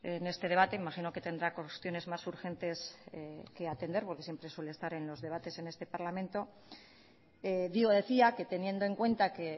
en este debate imagino que tendrá cuestiones más urgentes que atender porque siempre suele estar en los debates en este parlamento digo decía que teniendo en cuenta que